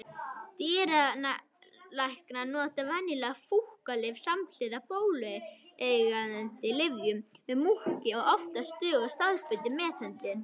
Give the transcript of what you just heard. Dýralæknar nota venjulega fúkkalyf samhliða bólgueyðandi lyfjum við múkki og oftast dugar staðbundin meðhöndlun.